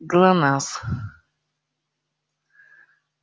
глонассс